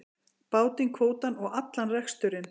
Bátinn, kvótann og allan reksturinn.